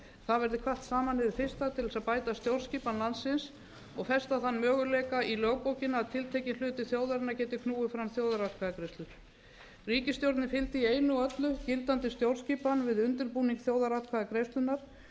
það verði kvatt saman hið fyrsta til þess að bæta stjórnskipan landsins og festa þann möguleika í lögbókina að tiltekinn hluti þjóðarinnar geti knúið fram þjóðaratkvæðagreiðslur ríkisstjórnin fylgdi í einu og öllu gildandi stjórnskipan við undirbúning þjóðaratkvæðagreiðslunnar